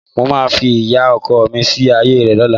Mo máa fi ìyá ọkọ mi sí ààyè rẹ̀ lọ́la